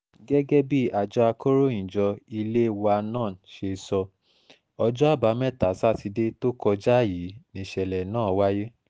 gẹ́gẹ́ bí àjọ akọ̀ròyìnjọ ilé wa nan ṣe sọ ọjọ́ àbámẹ́ta sátidé tó kọjá yìí níṣẹ̀lẹ̀ náà wáyé